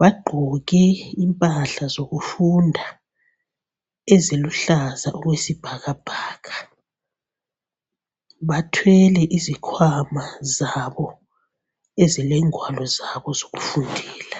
Bagqoke impahla zokufunda eziluhlaza okwesibhakabhaka. Bathwele izikhwama zabo ezilengwalo zabo zokufundela.